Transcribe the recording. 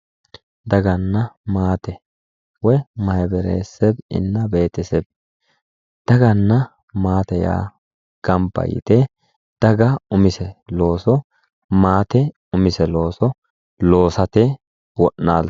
daganna maate mayhbere seb woy beteseb daganna maate yaa gamba yite umise looso loosate wo'naltanno